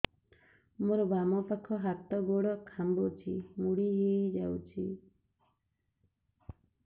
ମୋର ବାମ ପାଖ ହାତ ଗୋଡ ଖାଁଚୁଛି ମୁଡି ହେଇ ଯାଉଛି